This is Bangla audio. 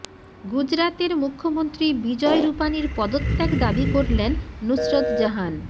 গুজরাতের মুখ্যমন্ত্রী বিজয় রুপানির পদত্যাগ দাবি করলেন নুসরত জাহান